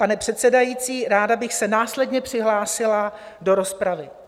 Pane předsedající, ráda bych se následně přihlásila do rozpravy.